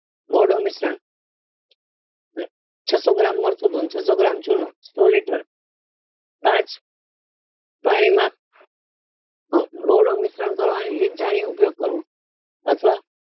દોડું મિશ્રણ છસો gram મરચું અને છસો gram ચૂનો પાંચ પાણી માં દોડું મિશ્રણ કરવા ની રીત જાણી ઉપયોગ કરવું અથવા